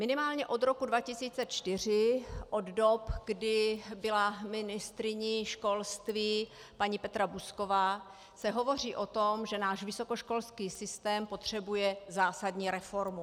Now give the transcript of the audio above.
Minimálně od roku 2004, od dob, kdy byla ministryní školství paní Petra Buzková, se hovoří o tom, že náš vysokoškolský systém potřebuje zásadní reformu.